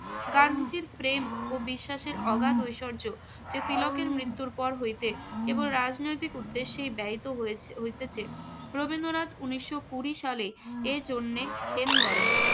গান্ধীজির প্রেম ও বিশ্বাসের অগাধ ঐশ্বর্য যে তিলকের মৃত্যুর পর হইতে কেবল রাজনৈতিক উদ্দেশ্যে ব্যয়িত হয়েছে~ হইতেছে। রবীন্দ্রনাথ উনিশশো কুড়ি সালে এর জন্য খেদ করেন।